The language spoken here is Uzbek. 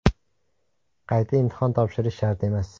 Qayta imtihon topshirish shart emas.